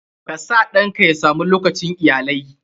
KA sa ɗanka ya sa mu lokacin iyalai.